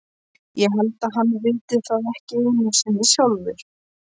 Ég held að hann viti það ekki einu sinni sjálfur.